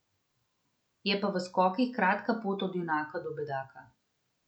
Je pa v skokih kratka pot od junaka do bedaka.